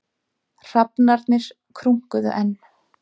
Hrafnarnir krunkuðu enn.